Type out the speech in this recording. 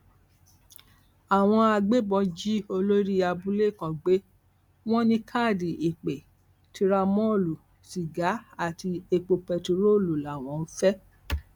àwọn agbébọn jí olórí abúlé kan gbé wọn ní káàdì ìpè tìràmọọlù sìgá àti epo bẹtiróòlù làwọn fẹ